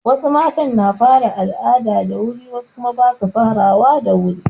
Wasu matan na fara al'ada da wuri wasu kuma ba su farawa da wuri.